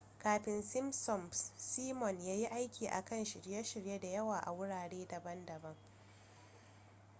kafin simpsons simon ya yi aiki a kan shirye-shirye da yawa a wurare daban-daban